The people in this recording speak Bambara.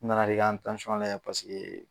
N nana de i ka n layɛ paseke